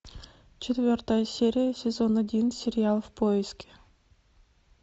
четвертая серия сезон один сериал в поиске